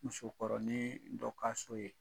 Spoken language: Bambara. Musokɔrɔniin dɔ ka so ye